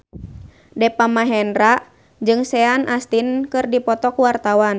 Deva Mahendra jeung Sean Astin keur dipoto ku wartawan